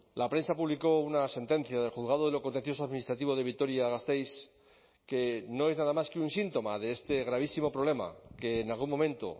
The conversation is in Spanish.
la prensa publicó una sentencia del juzgado de lo contencioso administrativo de vitoria gasteiz que no es nada más que un síntoma de este gravísimo problema que en algún momento